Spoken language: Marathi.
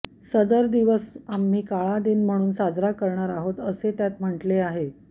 सदर दिवस आम्ही काळा दिन म्हणून साजरा करणार आहोत असे त्यात म्हटले आहे